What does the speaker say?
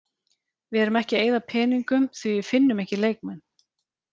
Við erum ekki að eyða peningum því við finnum ekki leikmenn.